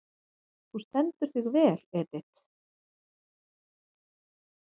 Þú stendur þig vel, Edit!